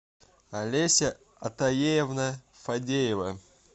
олеся атаеевна фадеева